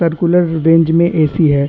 Circular range में AC है।